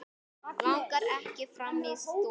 Langar ekki fram í stofu.